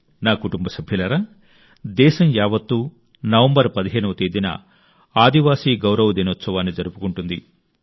నా కుటుంబ సభ్యులారా దేశం యావత్తూ నవంబర్ 15వ తేదీన ఆదివాసీ గౌరవ దినోత్సవాన్ని జరుపుకుంటుంది